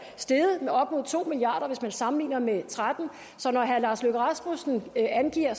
steget med op mod to milliard kr hvis man sammenligner med to og tretten så når herre lars løkke rasmussen angiver